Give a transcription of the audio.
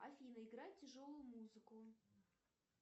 афина играй тяжелую музыку